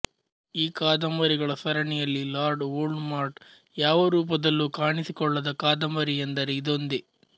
ಈ ಕಾದಂಬರಿಗಳ ಸರಣಿಯಲ್ಲಿ ಲಾರ್ಡ್ ವೋಲ್ಡ್ ಮಾರ್ಟ್ ಯಾವ ರೂಪದಲ್ಲೂ ಕಾಣಿಸಿಕೊಳ್ಳದ ಕಾದಂಬರಿಯೆಂದರೆ ಇದೊಂದೇ